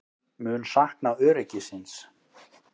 Mun sakna öryggisins.